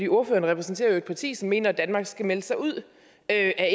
ordføreren repræsenterer jo et parti som mener at danmark skal melde sig ud af